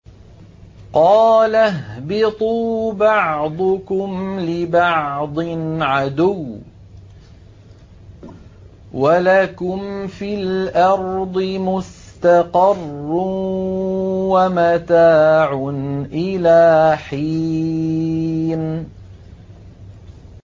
قَالَ اهْبِطُوا بَعْضُكُمْ لِبَعْضٍ عَدُوٌّ ۖ وَلَكُمْ فِي الْأَرْضِ مُسْتَقَرٌّ وَمَتَاعٌ إِلَىٰ حِينٍ